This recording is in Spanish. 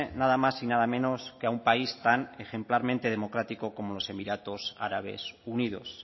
nada más y nada menos que a un país tan ejemplarmente democrático como los emiratos árabes unidos